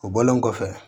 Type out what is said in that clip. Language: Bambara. O bɔlen kɔfɛ